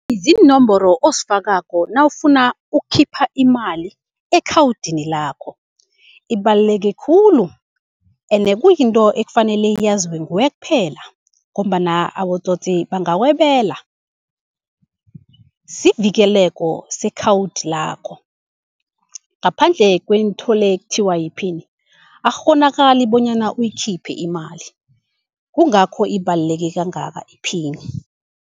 Ziinomboro ozifakako nawufuna ukukhipha imali ekhawudini lakho. Ibaluleke khulu ende kuyinto ekufanele yaziwe nguwe kuphela ngombana abotsotsi bangakwebela. Sivikeleko sekhawudi lakho, ngaphandle kwento le ekuthiwa yiphini akukghonakali bonyana uyikhiphe imali, kungakho ibaluleke kangaka iphini.